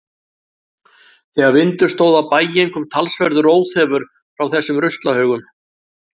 Þegar vindur stóð á bæinn kom talsverður óþefur frá þessum ruslahaugum.